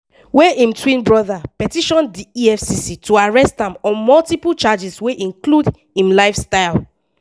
wey im twin brother petition di efcc to arrest am on multiple charges wey include im lifestyle.